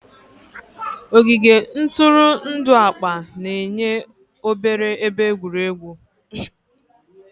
Ogige ntụrụndụ akpa na-enye obere ebe egwuregwu.